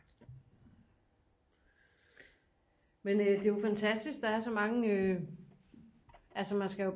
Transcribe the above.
Men øh det er jo fantastisk der er så mange øh altså man skal jo